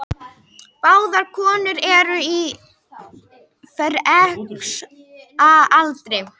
Báðar konurnar eru á fertugsaldri